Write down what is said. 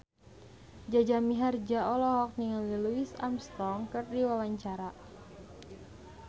Jaja Mihardja olohok ningali Louis Armstrong keur diwawancara